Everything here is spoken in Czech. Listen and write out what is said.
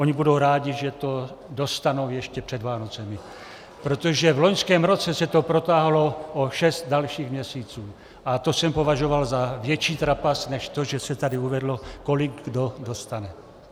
Oni budou rádi, že to dostanou ještě před Vánocemi, protože v loňském roce se to protáhlo o šest dalších měsíců a to jsem považoval za větší trapas než to, že se tady uvedlo, kolik kdo dostane.